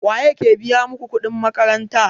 Waye yake biya maka kuɗin makaranta?